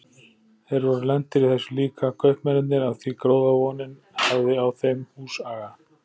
Þeir voru lentir í þessu líka, kaupmennirnir, af því gróðavonin hafði á þeim húsaga.